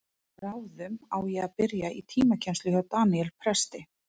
En bráðum á ég að byrja í tímakennslu hjá Daníel presti.